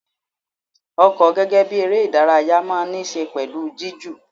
Ọkọ gẹ́gẹ́ bí eré ìdárayá máa ń ní ṣe pẹ̀lú jiju.